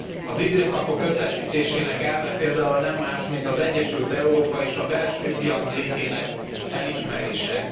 Az időszakok összesítésének elve például nem más, mint az egyesült Európa és a belső piac létének elismerése.